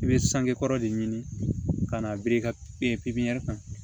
I bɛ sange kɔrɔ de ɲini ka na biri ka pipiniyɛri kan